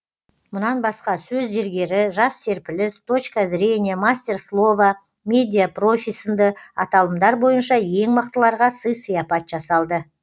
мұнан басқа сөз зергері жас серпіліс точка зрения мастер слова медиа профи сынды аталымдар бойынша ең мықтыларға сый сияпат жасалды